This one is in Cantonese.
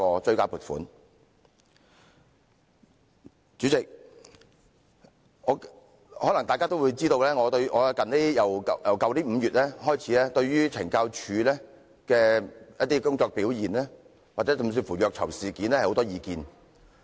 代理主席，可能大家也知道，自去年5月以來，我對懲教署一些工作表現乃至虐囚事件有很多意見。